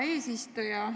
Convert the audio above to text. Hea eesistuja!